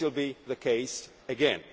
law. This will be the case